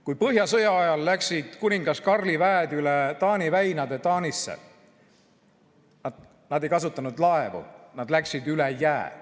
Kui põhjasõja ajal läksid kuningas Karli väed üle Taani väinade Taani, ei kasutanud nad laevu, nad läksid üle jää.